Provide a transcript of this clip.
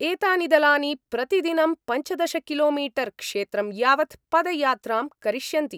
एतानि दलानि प्रतिदिनं पञ्चदश किलोमीटर्क्षेत्रं यावत् पदयात्रां करिष्यन्ति।